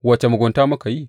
Wace mugunta muka yi?